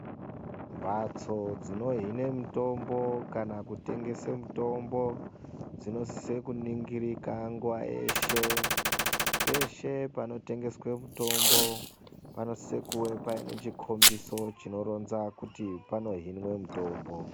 Mhatso dzinehine mitombo kana kutengesa mitombo dzinofanira kuningirike nguva yeshee kana pese panohine mutombo panofanira kunge paine chikumbiso chinohina kuti panohine mutombo